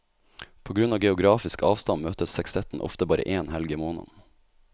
På grunn av geografisk avstand møtes sekstetten ofte bare én helg i måneden.